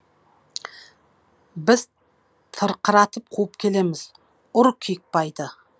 біз тырқыратып қуып келеміз ұр киікбайды